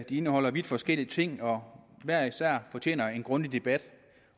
de indeholder vidt forskellige ting og hver især fortjener de en grundig debat